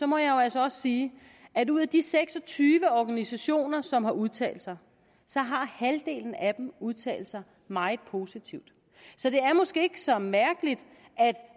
må jeg jo altså også sige at ud af de seks og tyve organisationer som har udtalt sig har halvdelen af dem udtalt sig meget positivt så det er måske ikke så mærkeligt at